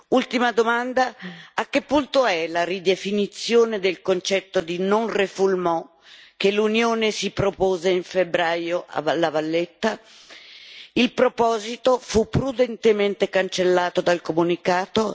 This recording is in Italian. Ultima domanda a che punto è la ridefinizione del concetto di non refoulement che l'Unione si propose in febbraio a La Valletta? Il proposito fu prudentemente cancellato dal comunicato.